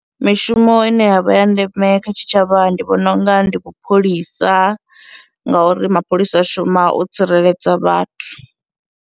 Mishumo ine yavha ya ndeme kha tshitshavha ndi vhona unga ndi vhu pholisa, ngauri mapholisa a shuma u tsireledza vhathu.